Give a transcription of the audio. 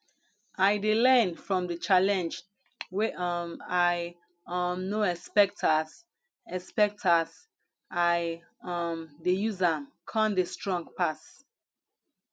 i dey learn from di challenge wey um i um no expect as expect as i um dey use am con dey strong pass